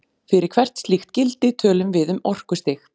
fyrir hvert slíkt gildi tölum við um orkustig